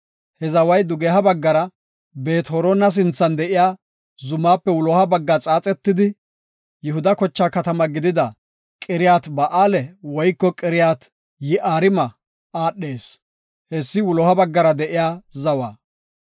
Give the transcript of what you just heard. He zaway dugeha baggara Beet-Horona sinthan de7iya zumaape wuloha bagga xaaxetidi, Yihuda kochaa katama gidida, Qiriyaat-Ba7aale woyko Qiriyat-Yi7aarima aadhees. Hessi wuloha baggara de7iya zawa.